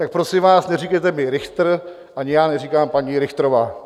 Tak prosím vás, neříkejte mi Richtr, ani já neříkám paní Richtrová.